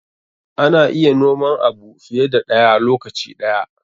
Ana iya noman abu fiye da ɗaya lokaci ɗaya.